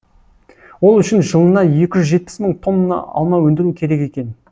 ол үшін жылына екі жүз жетпіс мың тонна алма өндіру керек екен